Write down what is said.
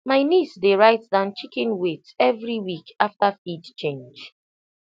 my niece dey write down chicken weight every week after feed change